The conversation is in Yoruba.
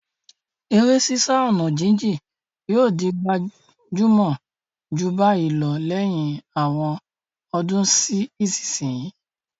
Eré sísá ọ̀nà jíjìn yóò di gbajúmọ̀ jù báyìí lọ lẹ́yìn àwọn ọdún sí ìsinsìnyí.